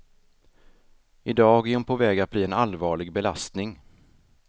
I dag är hon på väg att bli en allvarlig belastning.